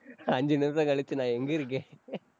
அஞ்சு நிமிஷம் கழிச்சு, நான் எங்க இருக்கேன்